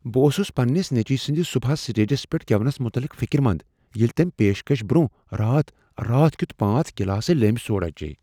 بہٕ اوسس پننِس نیٚچوۍ سٕنٛد صبحس سٹیجس پیٹھ گیونس متعلق فکرمند ییٚلہ تمہِ پیشكش برونہہ راتھ راتھ كِیوٗتھ پانژھ گلاسہٕ لیمہِ سوڈا چییہِ